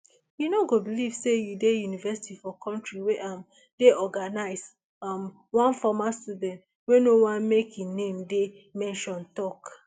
you no go believe say you dey university for kontri wey um dey organised um one former student wey no want make im name dey mentioned tok